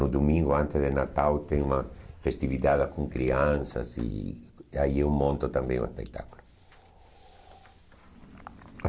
No domingo, antes de Natal, tem uma festividade com crianças e aí eu monto também o espetáculo.